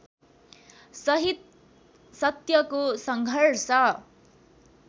सहित सत्यको सङ्घर्ष